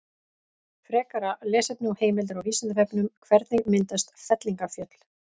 Frekara lesefni og heimildir á Vísindavefnum: Hvernig myndast fellingafjöll?